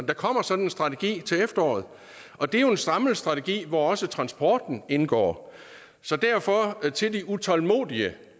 der kommer sådan en strategi til efteråret og det er jo en samlet strategi hvor også transporten indgår så derfor vil til de utålmodige